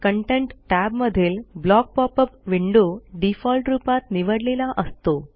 content टॅबमधील block pop up window default रूपात निवडलेला असतो